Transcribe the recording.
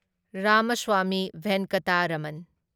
Ramaswami Venkataraman